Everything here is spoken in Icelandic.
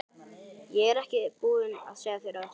Ég er ekki búin að segja þér allt!